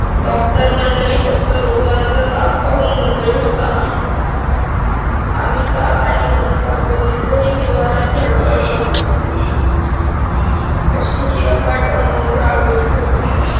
Doctor मंडळी फक्त रोगांचा ताप पाहून मोकळे होतात आम्ही ताप आणि मनस्ताप दोन्हीचही निवारण धडपड करतो अशी ही अफाट अनु रागवली होती.